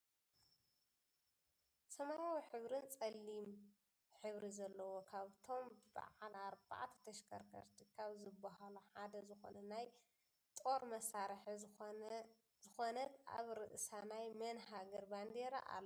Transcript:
ሰማያዊ ሕብርን ፀሊም ሕብሪ ዘለዎ ካብበቶም ብዓል ኣርባዕተ ተሽከርከርቲ ካብ ዝብሃሉ ሓደ ዝኮነ ናይ ጣር መሳርሒ ዝኮነ ት ኣብ ርእሳ ናይ መን ሃገር ባንዴራ ኣሎ።